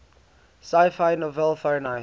sci fi novel fahrenheit